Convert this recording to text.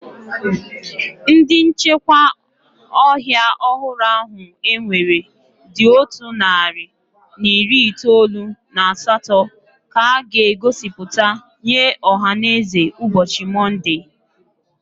Ndị nchekwa ọhịa ọhụrụ ahụ ewere dị otu narị na iri itoolu na asatọ ka a ga-egosipụta nye ọhaneze ụbọchị Monde.